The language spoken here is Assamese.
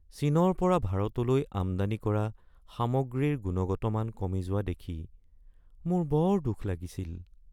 চীনৰ পৰা ভাৰতলৈ আমদানি কৰা সামগ্ৰীৰ গুণগত মান কমি যোৱা দেখি মোৰ বৰ দুখ লাগিছিল।